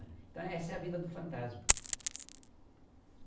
Então essa é a vida do fantasma.